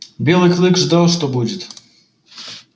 белый клык ждал что будет